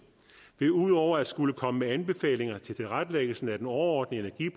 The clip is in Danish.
vil ud over at skulle komme med anbefalinger til tilrettelæggelsen af den overordnede